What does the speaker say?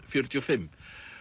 fjörutíu og fimm